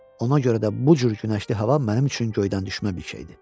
Ona görə də bu cür günəşli hava mənim üçün göydən düşmə bir şeydir.